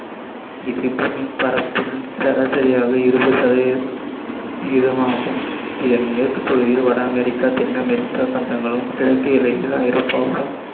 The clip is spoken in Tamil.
சராசரியாக இருபது சதவீத இதமாகும் இதன் மேற்குப் பகுதியில் வட அமெரிக்கா தென் அமெரிக்கா கண்டங்களும் கிழக்கு எல்லையில் ஐரோப்பாவும்